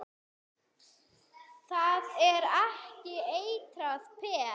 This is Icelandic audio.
Það er ekki eitrað peð?